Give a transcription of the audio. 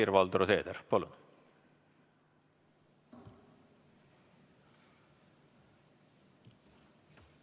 Helir-Valdor Seeder, palun!